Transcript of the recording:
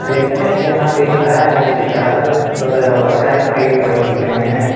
Tractor जहां पे खड़ा है उसके चारो बगल बहोत सारे पेड़ पौधे दिख रहे हैं।